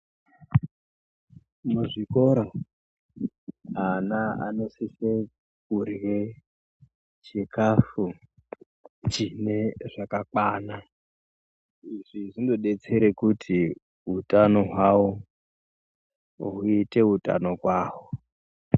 Muzvikora ana anosisa kurya chikafu chine zvakakwana izvi zvinodetsera kuti hutano hwavo uite utano kwawo.